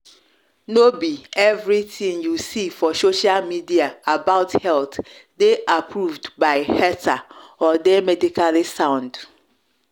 no be everything you see for social media about health dey approved by heather or dey medically sound.